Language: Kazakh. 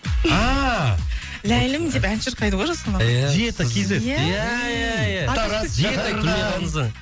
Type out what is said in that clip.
ааа ләйлім деп ән шырқайды ғой жасұлан иә диета кз иә иә иә тараз шахардан